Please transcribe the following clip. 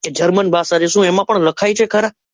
કે german ભાષા જે શું એમાં પણ લખાય છે ખરા?